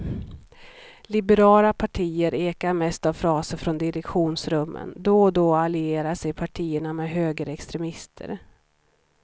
Liberala partier ekar mest av fraser från direktionsrummen, då och då allierar sig partierna med högerextremister.